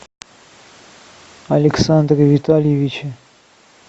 александре витальевиче